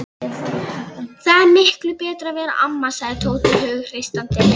Það er miklu betra að vera amma, sagði Tóti hughreystandi.